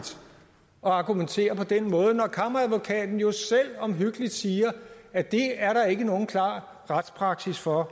argumentere på den måde når kammeradvokaten jo selv omhyggeligt siger at det er der ikke nogen klar retspraksis for